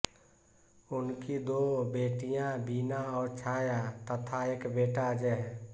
उनकी दो बेटियां वीना और छाया तथा एक बेटा अजय है